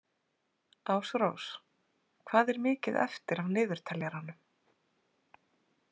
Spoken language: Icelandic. Ásrós, hvað er mikið eftir af niðurteljaranum?